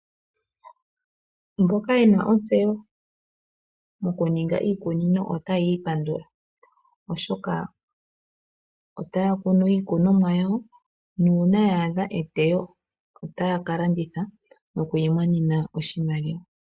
Mboka ye na ontseyo mokuninga iikunino otaya ipandula, oshoka otaya kunu iikonumwa yawo nuuna ya adha eteyo otaya ka landitha noku imonena oshimaliwa.